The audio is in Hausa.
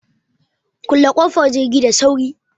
Kulle ƙofar jirgi da sauri!